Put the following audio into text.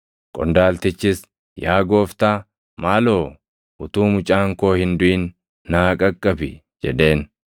Qondaaltichis, “Yaa Gooftaa, maaloo utuu mucaan koo hin duʼin naa qaqqabi” jedheen.